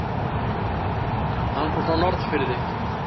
Hann kom frá Norðfirði.